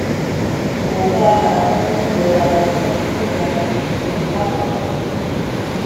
mo máa ń yẹra fún gbígba ìpè láwọn